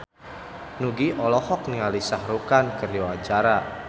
Nugie olohok ningali Shah Rukh Khan keur diwawancara